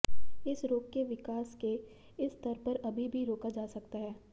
इस रोग के विकास के इस स्तर पर अभी भी रोका जा सकता है